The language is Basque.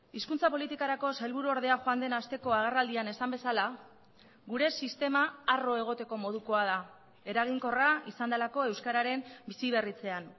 hizkuntza politikarako sailburu ordea joan den hasteko agerraldian esan bezala gure sistema harro egoteko modukoa da eraginkorra izan delako euskararen bizi berritzean